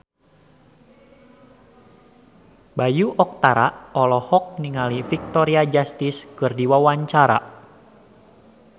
Bayu Octara olohok ningali Victoria Justice keur diwawancara